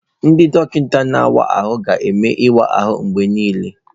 Ndị dọkịta na-awa ahụ ga-eme ịwa ahụ mgbe niile.